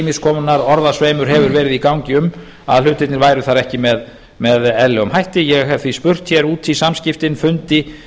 ýmiss konar orðasveimur hefur verið í gangi um að hlutirnir væru þar ekki með eðlilegum ég hef því spurt út í samskiptin fundið